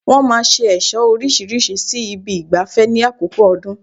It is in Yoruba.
Wọ́n máa ṣe ẹ̀ṣọ́ orísirísi sí ibi ìgbafẹ́ ní àkókò ọdún